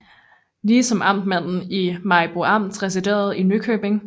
Lige som amtmanden i Maribo Amt residerede i Nykøbing